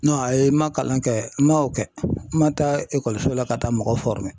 a ye n man kalan kɛ n man o kɛ n man taa ekɔliso la ka taa mɔgɔ